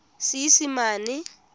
seesimane